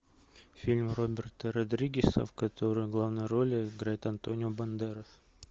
фильм роберта родригеса в котором главную роль играет антонио бандерос